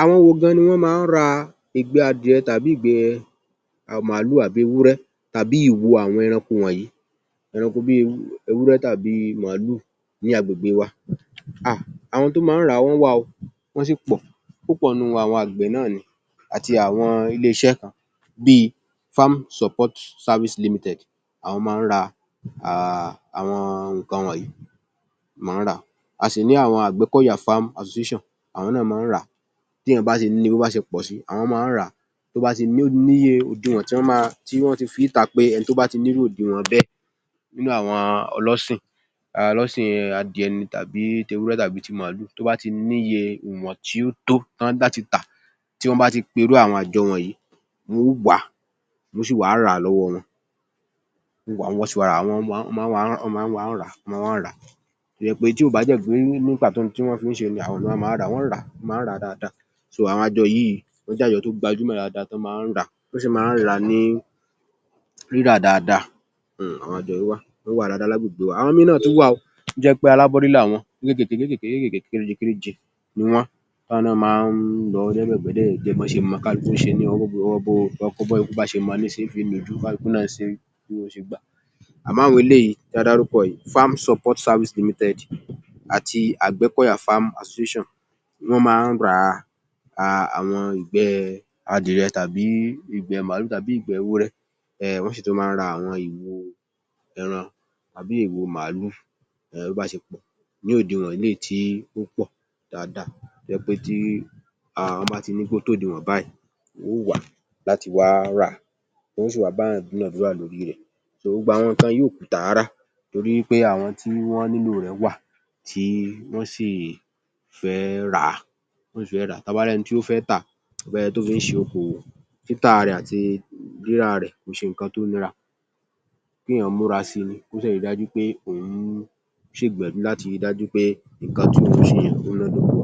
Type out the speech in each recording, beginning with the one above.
Àwọn wo ni wọ́n máa ń ra ìgbẹ́ màálù, ìgbẹ́ adìẹ tàbí ìgbẹ́ ewúrẹ́ bí i ìwo àwọn ẹranko wọ̀nyí bí i ewúrẹ́ tàbí màálù ní agbègbè wa. Ahn àwọn tó máa ń rà á ó wà o, wọ́n sì pọ̀. Púpọ̀ nínú wọn àwọn àgbẹ̀ náà ni àti àwọn ilé-iṣẹ́ kan bí i Farm Support service Limited. Àwọn máa ń ra àwọn nǹkan wọ̀nyí, wọ́n máa ń rà á. A sì ní àwọn Àgbẹ́kọ̀yà Farm Association, àwọn náà máa ń rà á. Bí èèyàn bá ti ní i, bí ó bá ṣe pọ̀ sí, àwọ́n máa ń rà á. Tí ó bá ti níye òdiwọ̀n tí wọ́n máa tí wọ́n ti fi í ta pé ẹni tó bá ti ní irú òdiwọ̀n bẹ́ẹ̀ nínú àwọn ọlọ́sìn adìẹ ni tàbí ti màálù. Tó bá ti ní iye ìwọ̀n tí ó tó ọ́ ń láti tà á. Tọ́ bá ti pe irú àwọn àjọ wọ̀nyí, wọ́n ó gbà á, wọ́n ó sì wá rà á lọ́wọ́ wọn. Ọ́ máa ń wá rà á. Tí kò bá dẹ̀ dé pàtó ohun tí wọ́n fi ń ṣẹ, ọ́ máa ń wá rà á, ọ́ ń rà á dáadáa. Àwọn àjọ yìí, ó jẹ́ àjọ tó gbajúmọ̀ dáadáa tọ́ máa ń rà á. Wọ́n sì máa ń rà á ní rírà dáadáa. Ó wà dáadáa lágbègbèe wa. Àwọn míì náà tún wà o tó jẹ́ pé alábọ́rí làwọn kéékéèké kéékéèké kéréje kéréje ni wọ́n. Wọ́n máa ń rà á díẹ̀dẹ̀díẹ̀, bó ṣe mọ káàkiri. Bọ́wọ́ bá ṣe mọ́ la ṣe ń fi nujú, àmọ́ àọñ eléyìí tí a dárúkọ yiọí, Farm Support Service Limited àti Àgbẹ́kọ̀yà Farm Association lọ́ máa ń ra ìgbẹ́ adìẹ tàbí ìgbẹ́ màálù tàbí ìgbẹ́ ewúrẹ́. Ehn.. ọ́ sì tún máa ń ra àwọn ìwo ẹran tàbí ìwo màálù. Bí ó bá ṣe pọ̀ ní òdiwọ̀n, níyìí tí ó pọ̀ dáadáa. Tó jẹ́ pé tí ọ́ bá ti ní pé ó tó òdiwọ̀n báyìí, wó wà á láti wá rà á. Wọ́n óò wá bá èèyàn dúnàdúràá lórí rẹ̀. Gbogbo àwọn nǹkan yìí òkùtà rárá torí wí pé àwọn tí wọ́n nílò rẹ̀ wà tí wọ́n sì fẹ́ rà á, tí wọ́n bá rẹ́ni tó fẹ́ tà; ẹni tó fi ń ṣe okòwò. Títà rẹ̀ àti rírà rẹ̀ kìí ṣe nǹkan tó nira. Kí èèyàn múra sí i ni. Kó sì rí i dájú wí pé òun ṣe ìgbìyànjú láti rí i dájú wí pé nǹkna tí òun ń ṣe yìí òun mọ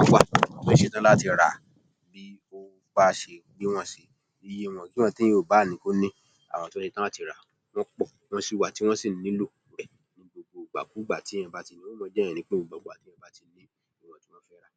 àwọn tó ṣetán láti rà á. Iye ìwọ̀n èèyàn ò báà ní, àwọn tọ́ ṣetán láti rà á wọ́n pọ̀ tí wọ́n sì nílò rẹ̀ ní ìgbàkúùgbà téèyàn bá ti ní i, wọ́n á láwọn fẹ́ rà á.